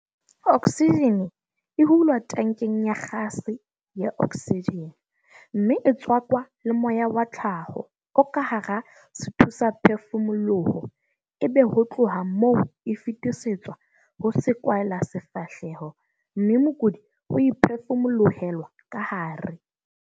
Oksijene e hulwa tankeng ya gase ya oksijene mme e tswakwa le moya wa tlhaho o ka hara sethusaphefumoloho ebe ho tloha moo e fetisetswa ho sekwahelasefahleho mme mokudi o e phefumolohelwa ka hare.